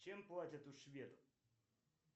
чем платят у шведов